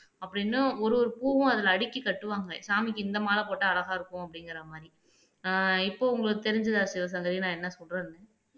அப்படின்னு ஒரு ஒரு பூவும் அதிலே அடுக்கிக் கட்டுவாங்க சாமிக்கு இந்த மாலை போட்டா அழகா இருக்கும் அப்படிங்கிற மாதிரி ஆஹ் இப்போ உங்களுக்குத் தெரிஞ்சதா சிவசங்கரி நான் என்ன சொல்றேன்னு